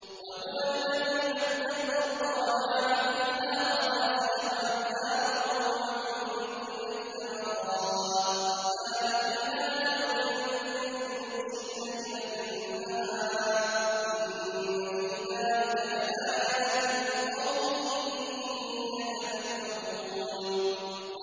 وَهُوَ الَّذِي مَدَّ الْأَرْضَ وَجَعَلَ فِيهَا رَوَاسِيَ وَأَنْهَارًا ۖ وَمِن كُلِّ الثَّمَرَاتِ جَعَلَ فِيهَا زَوْجَيْنِ اثْنَيْنِ ۖ يُغْشِي اللَّيْلَ النَّهَارَ ۚ إِنَّ فِي ذَٰلِكَ لَآيَاتٍ لِّقَوْمٍ يَتَفَكَّرُونَ